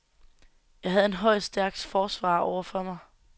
Jeg havde en høj, stærk forsvarer over for mig.